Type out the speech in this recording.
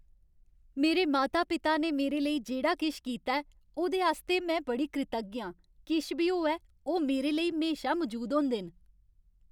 मेरे माता पिता ने मेरे लेई जेह्ड़ा किश कीता ऐ, ओह्दे आस्तै में बड़ी कृतज्ञ आं। किश बी होऐ, ओह् मेरे लेई म्हेशा मजूद होंदे न।